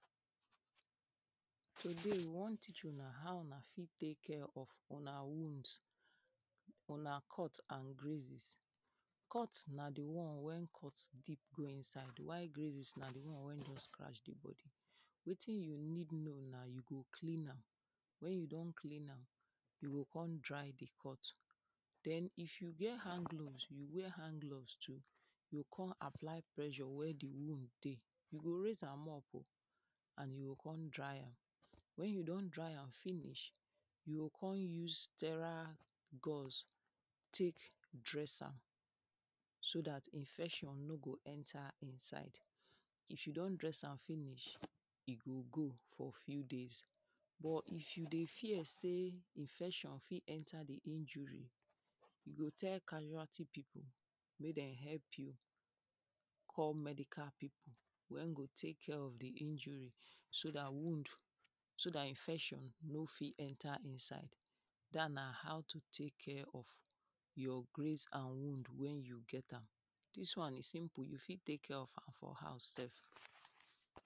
Today we wan teach una how una fit take care of una wounds, una cut and grazes. Cut na di one wey cut dip go inside oh why grazes na di one wey don strach di body, wetin you need know na you go clean am wen you don clean am, you go kon dry di cut den if you get hand gloves you wear hand gloves too you go kon apply pressure where di wound dey, you go raise am up oh and you go kon dry am wen you don dry am finish you go kon use tera gurse take dress am so dat infection no go enter inside, if you don dress am finish e go go for few days but if you dey fear sey infection fit enter di injury you go tell casualty pipu make dem help you call medical pipu wey go take care of di injury so dat wound so dat infection no fit enter inside. Dat na how to take care of your graze and wound wen you get am, dis one e simple you fit take care of am for house sef.